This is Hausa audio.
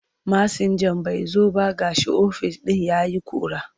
Masinjan bai zo ba ga ofis ɗin ya yi ƙura.